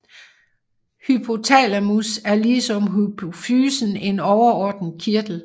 Hypothalamus er ligesom hypofysen en overordnet kirtel